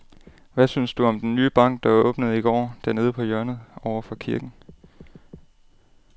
Hvad synes du om den nye bank, der åbnede i går dernede på hjørnet over for kirken?